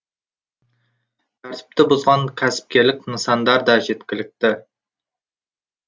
тәртіпті бұзған кәсіпкерлік нысандар да жеткілікті